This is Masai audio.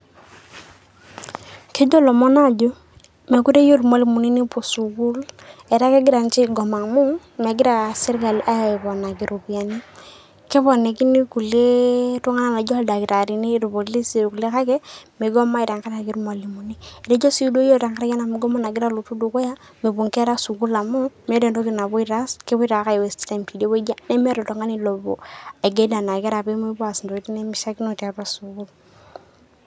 Kejoo ilomon ajo mekoree ayeu mwalimuni nepoo sukuul etaaa kejira ninche aigomaa amu mejira sirkali aiponikii ropiani. Keponokini kulee iltung'anak najoo ildaktaririn, ilpolisi kulee kaki meigomai teng'arari mwalimuni. Etojoo sii yoo teng'araki anaa mugomo najiraa aloitu dukuya mepoo enkerra sukuul amu metaa entokii naipotoo aas, kepoitoo ake ai waste time tedewueji nee meeta lltung'ani leipoo aigeel nenia nkerra pee emeipo aas entoikitin nemeshaikinoi teatua sukuul.